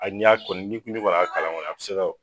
A y'a kɔni ni kɔni y'a kalan kɔni a bi se ka